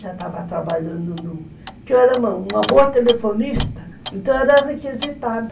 Já estava trabalhando no... Porque eu era uma boa telefonista, então era requisitada.